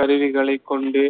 கருவிகளை கொண்டு